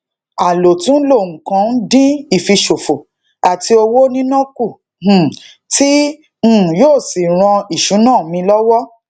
alotunlo nnkan n din ifisofo ati owo nina ku um ti um yoo si ran isuna mi lowo